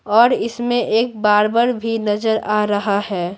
और इसमें एक बारबर भी नजर आ रहा है।